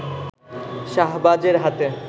শাহবাজের হাতে